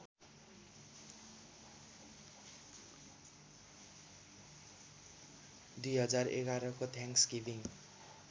२०११ को थ्यान्कस्‌गिभिङ्ग